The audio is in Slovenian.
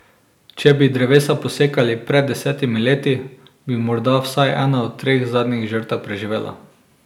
Če bi drevesa posekali pred desetimi leti, bi morda vsaj ena od treh zadnjih žrtev preživela.